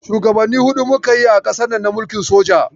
Shugabanni huɗu muka yi a ƙasarnan na mulkin soja.